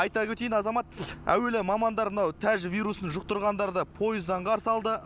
айта өтейін азамат әуелі мамандар мынау тәжівирусын жұқтырғандарды пойыздан қарсы алды